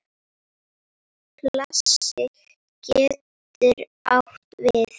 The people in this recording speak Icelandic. Klasi getur átt við